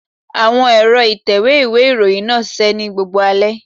Àwọn ẹ̀rọ ìtẹ̀wé ìwé ìròyìn náà ṣiṣẹ́ ní gbogbo alẹ́.